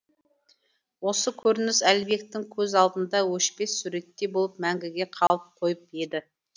осы көрініс әлібектің көз алдында өшпес суреттей болып мәңгіге қалып қойып еді